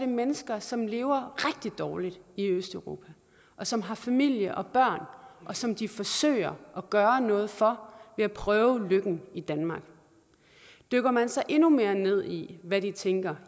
mennesker som lever rigtig dårligt i østeuropa som har familie og børn som de forsøger at gøre noget for ved at prøve lykken i danmark dykker man så endnu mere ned i hvad de tænker